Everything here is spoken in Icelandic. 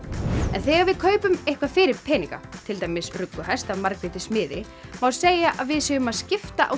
en þegar við kaupum eitthvað fyrir peninga til dæmis rugguhest af Margréti smiði má segja að við séum að skipta á